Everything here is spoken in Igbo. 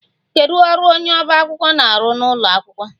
Kedu ọrụ onye ọba akwụkwọ na-arụ n'ụlọ akwụkwọ?